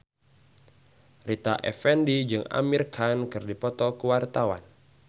Rita Effendy jeung Amir Khan keur dipoto ku wartawan